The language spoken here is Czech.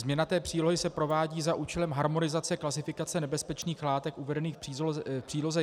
Změna té přílohy se provádí za účelem harmonizace klasifikace nebezpečných látek uvedených v Příloze